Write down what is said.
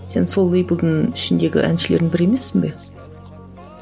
сен сол лэйблдің ішіндегі әншілердің бірі емессің бе